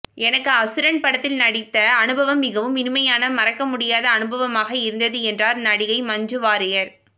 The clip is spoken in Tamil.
எனக்கு அசுரன் படத்தில் நடித்த அனுபவம் மிகவும் இனிமையான மறக்கமுடியாத அனுபவமாக இருந்தது என்றார் நடிகை மஞ்சு வாரியர்